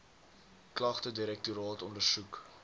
klagte direktoraat ondersoek